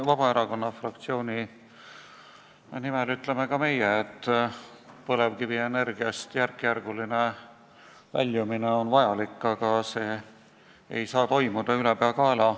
Vabaerakonna fraktsiooni nimel ütlen ka mina, et põlevkivienergiast järkjärguline väljumine on vajalik, aga see ei saa toimuda ülepeakaela.